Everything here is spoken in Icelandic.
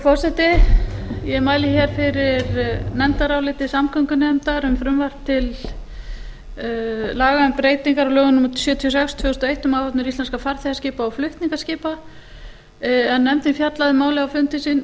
forseti ég mæli fyrir nefndaráliti samgöngunefndar um frumvarp til laga um breytingar á lögum númer sjötíu og sex tvö þúsund og eitt um áhafnir íslenskra farþegaskipa og flutningaskipa nefndin hefur fjallað